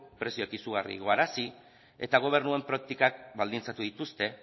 prezioak izugarri igoarazi eta gobernuen praktikak baldintzatu dituzte